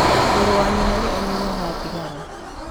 Mũrũ wa nyina nĩ anyuaga thigara